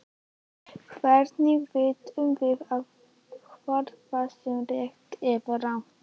Hvernig vitum við þá hvort það sé rétt eða rangt?